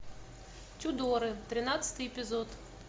тюдоры тринадцатый эпизод